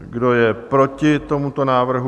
Kdo je proti tomuto návrhu?